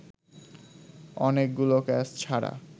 অনেকগুলো ক্যাচ ছাড়া